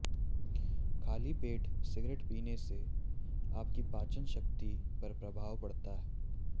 खाली पेट सिगरेट पीने से आपकी पाचन शक्ति पर प्रभाव पड़ता है